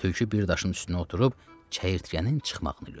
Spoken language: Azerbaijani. Tülkü bir daşın üstünə oturub çəyirtkənin çıxmağını gözlədi.